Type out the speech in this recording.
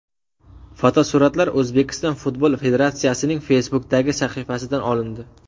Fotosuratlar O‘zbekiston Futbol Federatsiyasining Facebook’dagi sahifasidan olindi.